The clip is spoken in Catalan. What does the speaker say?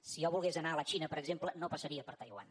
si jo volgués anar a la xina per exemple no passaria per taiwan